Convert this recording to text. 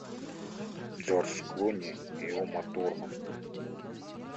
джордж клуни и ума турман